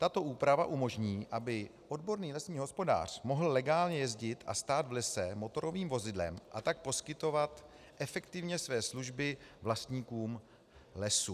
Tato úprava umožní, aby odborný lesní hospodář mohl legálně jezdit a stát v lese motorovým vozidlem, a tak poskytovat efektivně své služby vlastníkům lesů.